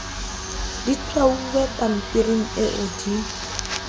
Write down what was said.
di tshwauwe pampiring eo di